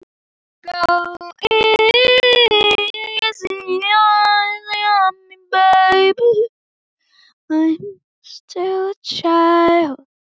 Án þess hefur